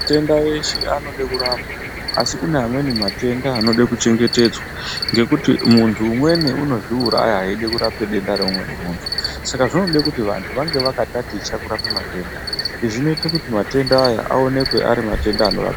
Matenda eshe anode kurapwa asi kune amweni matenda anode kuchengetedzwa ngekuti muntu umweni unozviuraya eida kurapa denda reumweni muntu saka zvinode kuti vantu vange vakandaticha kurape matenda izvi zvinoita kuti matenda aya aonekwe ari matenda anorapika